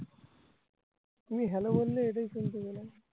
তুমি hello বললে এটাই শুনতে পেলাম